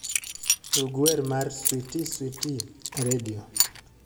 tug wer mar switi switi e redio